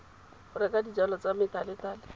go reka dijalo tsa methalethale